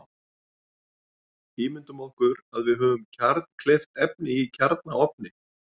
Ímyndum okkur að við höfum kjarnkleyft efni í kjarnaofni.